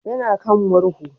Ya na kan murhu